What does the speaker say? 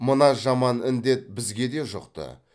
мына жаман індет бізге де жұқты